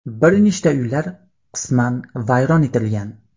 Bir nechta uylar qisman vayron etilgan.